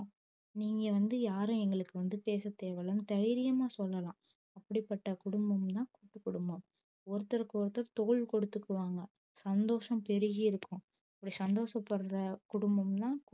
நீங்க வந்து யாரு எங்களுக்கு வந்து பேச தேவயில்லன்னு தைரியம்மா சொல்லலால் அப்படி பட்ட குடும்பம் தான் கூட்டு குடும்பம் ஒருத்தர்க்கு ஒருத்தர் தோல் கொடுத்துக்குவாங்க சந்தோஷம் பெருகி இருக்கும் இப்டி சந்தோஷத்த பட்ற குடும்பம் தான்